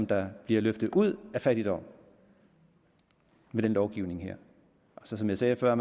der bliver løftet ud af fattigdom med den lovgivning her som jeg sagde før